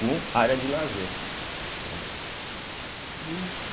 com área de lazer, né.